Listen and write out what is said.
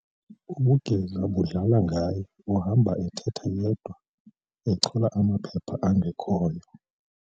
Ubugeza budlala ngaye uhamba ethetha yedwa echola amaphepha angekhoyo.